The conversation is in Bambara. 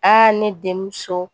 Aa ne denmuso